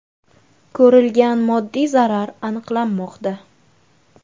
Ko‘rilgan moddiy zarar aniqlanmoqda.